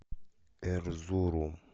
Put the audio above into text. эрзурум